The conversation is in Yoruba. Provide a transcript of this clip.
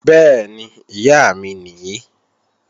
Bẹ́ẹ̀ni, Ìyá mi nìí